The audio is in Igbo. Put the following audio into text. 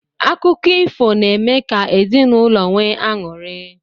Akụkọ ifo n'eme ka ezinụlọ nwee aṅụri.